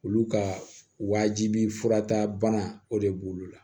Olu ka wajibi furatabana o de b'olu la